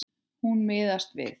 Hún miðast við.